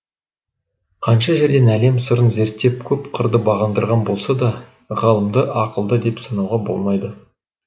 қанша жерден әлем сырын зерттеп көп қырды бағындырған болса да ғалымды ақылды деп санауға болмайды